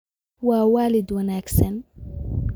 Waa waalid wanaagsan